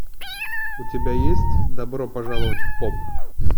у тебя есть добро пожаловать в поп